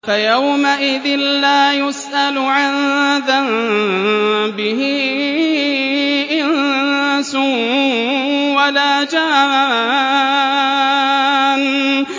فَيَوْمَئِذٍ لَّا يُسْأَلُ عَن ذَنبِهِ إِنسٌ وَلَا جَانٌّ